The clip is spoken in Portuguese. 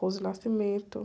Rose Nascimento.